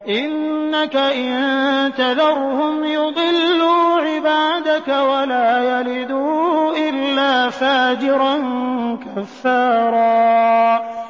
إِنَّكَ إِن تَذَرْهُمْ يُضِلُّوا عِبَادَكَ وَلَا يَلِدُوا إِلَّا فَاجِرًا كَفَّارًا